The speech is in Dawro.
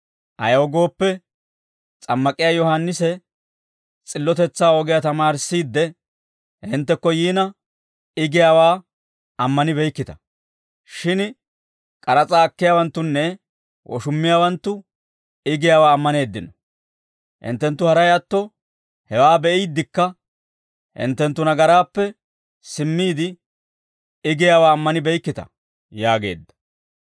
Ayaw gooppe, S'ammak'iyaa Yohaannisi s'illotetsaa ogiyaa tamaarissiidde, hinttekko yiina, I giyaawaa ammanibeykkita. Shin k'aras'aa akkiyaawanttunne woshummiyaawanttu I giyaawaa ammaneeddino; hinttenttu haray atto hewaa be'iidekka, hinttenttu nagaraappe simmiide, I giyiyaawaa ammanibeykkita» yaageedda.